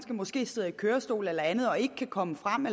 måske sidder i kørestol eller andet og ikke kan komme frem at